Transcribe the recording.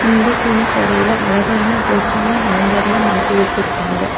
இந்த துணிக்கடையில அழகான ட்ரெஸ்சுங்க ஹேங்கர்ல மாட்டி வச்சிருக்காங்க.